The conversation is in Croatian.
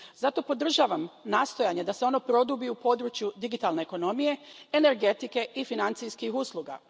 Zato podržavam nastojanja da se ono produbi u području digitalne ekonomije, energetike i financijskih usluga.